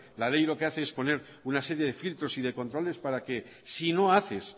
la ley lo que hace es poner una serie de filtros y de controles para que si no haces